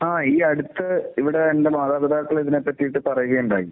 ആ. ഈ അടുത്ത് ഇവിടെ എന്റെ മാതാപിതാക്കൾ ഇതിനെ പറ്റി പറയുകയുണ്ടായി.